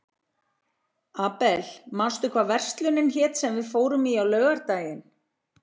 Abel, manstu hvað verslunin hét sem við fórum í á laugardaginn?